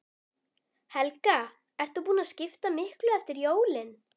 Helga: Ert þú búin að skipta miklu eftir jólin?